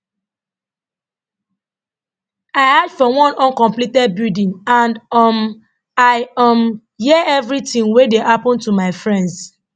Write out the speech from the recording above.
i hide for one uncompleted building and um i um hear everything wey dey happun to my friends